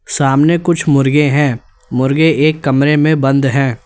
सामने कुछ मुर्गे हैं मुर्गे एक कमरे में बंद हैं।